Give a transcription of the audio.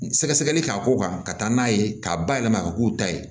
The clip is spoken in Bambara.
Sɛgɛsɛgɛli k'a k'o kan ka taa n'a ye k'a bayɛlɛma ka k'u ta ye